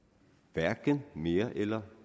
hverken mere eller